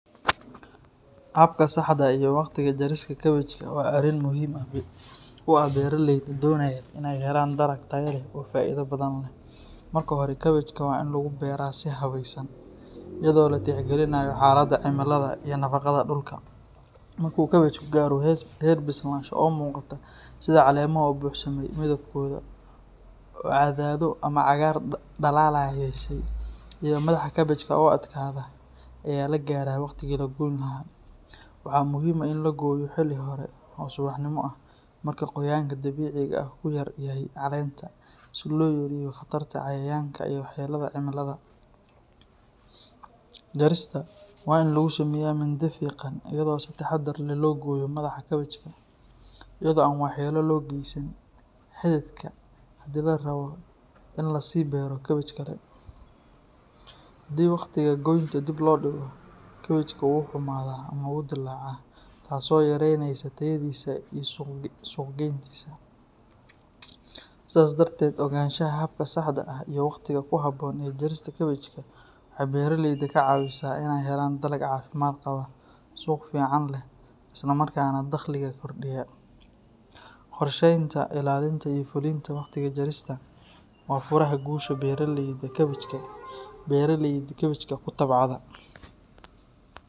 Habka saxdha ah iyo waqtiga jarista kabajka waa arrin muhiim u ah beeraleyda doonaya inay helaan dalag tayo leh oo faa’iido badan leh. Marka hore, kabajka waa in lagu beeraa si habaysan iyadoo la tixgelinayo xaaladda cimilada iyo nafaqada dhulka. Marka uu kabajku gaaro heer bislaansho oo muuqata, sida caleemaha oo buuxsamay, midabkooda oo caddaado ama cagaar dhalaalaya yeeshay, iyo madaxa kabajka oo adkaada, ayaa la gaaraa waqtigii la goyn lahaa. Waxaa muhiim ah in la gooyo xilli hore oo subaxnimo ah, marka qoyaanka dabiiciga ahi ku yar yahay caleenta, si loo yareeyo khatarta cayayaanka iyo waxyeellada cimilada. Jarista waa in lagu sameeyaa mindi fiiqan iyadoo si taxaddar leh loo gooyo madaxa kabajka, iyadoo aan waxyeello loo geysan xididka haddii la rabo in la sii beero kabaj kale. Haddii wakhtiga goynta dib loo dhigo, kabajka wuu xumaadaa ama wuu dillaacaa, taasoo yareynaysa tayadiisa iyo suuqgeyntiisa. Sidaas darteed, ogaanshaha habka saxdha ah iyo waqtiga ku habboon ee jarista kabajka waxay beeraleyda ka caawisaa inay helaan dalag caafimaad qaba, suuq fiican leh, isla markaana dakhliga kordhiya. Qorsheynta, ilaalinta, iyo fulinta waqtiga jarista waa furaha guusha beeraleyda kabajka ku tacbada.